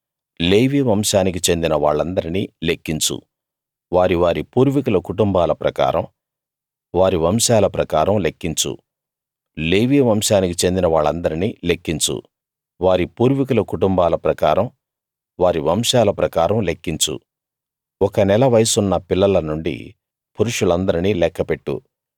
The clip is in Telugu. లేవీ వంశానికి చెందిన వాళ్లందర్నీ లెక్కించు వారి వారి పూర్వీకుల కుటుంబాల ప్రకారం వారి వంశాల ప్రకారం లెక్కించు లేవీ వంశానికి చెందిన వాళ్లందర్నీ లెక్కించు వారి పూర్వీకుల కుటుంబాల ప్రకారం వారి వంశాల ప్రకారం లెక్కించు ఒక నెల వయసున్న పిల్లల నుండి పురుషులందరినీ లెక్కపెట్టు